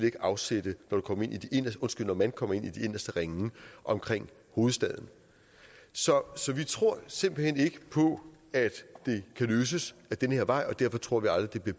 ikke afsætte når man kommer ind i de inderste ringe omkring hovedstaden så vi tror simpelt hen ikke på at det kan løses ad den her vej og derfor tror vi aldrig den